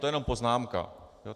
To je jenom poznámka.